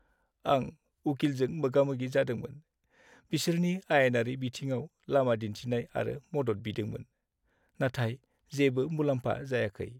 आं उकिलजों मोगामोगि जादोंमोन, बिसोरनि आयेनारि बिथिङाव लामा दिन्थिनाय आरो मदद बिदोंमोन, नाथाय जेबो मुलाम्फा जायाखै।